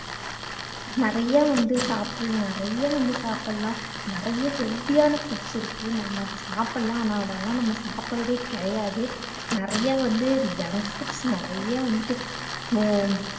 நிறைய வந்து சாப்பிடலாம் நிறைய வந்து சாப்பிடலாம் நிறைய healthy ஆன foods இருக்கு நம்ம அதை சாப்பிடலாம் ஆனால் அதெல்லாம் நம்ம சாப்பிடுறதே கிடையாது நிறைய வந்து junk foods நிறைய வந்துட்டு அஹ்